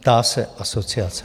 Ptá se asociace.